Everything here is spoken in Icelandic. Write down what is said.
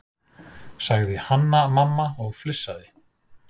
sagði Hanna-Mamma og flissaði.